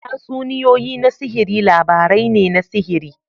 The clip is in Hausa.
Tatsuniyoyi na sihiri labarai ne na sihiri.